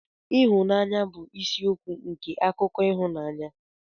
Ịhụnanya bụ isi isiokwu nke akụkọ ịhụnanya.